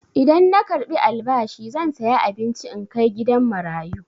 Idan na karɓi albashi zan saya abinci in kai gidan marayu.